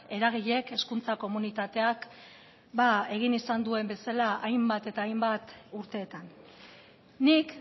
eragileek hezkuntza komunitateak egin izan duen bezala hainbat eta hainbat urteetan nik